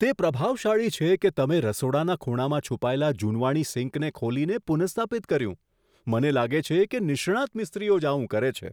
તે પ્રભાવશાળી છે કે તમે રસોડાના ખૂણામાં છુપાયેલા જૂનવાણી સિંકને કેવી રીતે ખોલી અને પુનઃસ્થાપિત કરી. મને લાગે છે કે નિષ્ણાંત મિસ્ત્રીઓ જ આવું કરે છે.